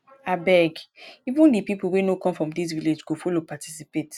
abeg even the people wey no come from dis village go follow participate